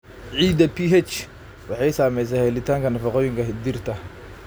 Ciidda pH waxay saamaysaa helitaanka nafaqooyinka dhirta.